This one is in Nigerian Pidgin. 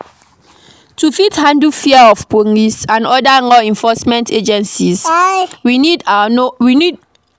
To fit handle fear of police and oda law enforcement agencies, we need to know our rights